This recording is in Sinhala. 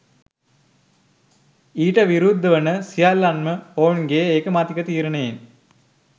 ඊට විරුද්ධ වන සියල්ලන්ම ඔවුන්ගේ ඒකමතික තීරණයෙන්